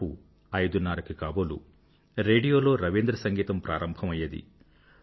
దాదాపు ఐదున్నరకి కాబోలు రేడియోలో రవీంద్ర సంగీతం ప్రారంభం అయ్యేది